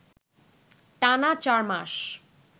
টানা চার মাস